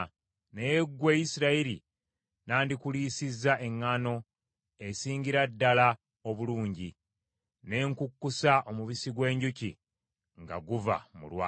Naye ggwe, Isirayiri, nandikuliisizza eŋŋaano esingira ddala obulungi, ne nkukkusa omubisi gw’enjuki nga guva mu lwazi.”